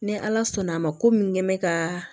Ni ala sɔnn' a ma ko min kɛ n bɛ ka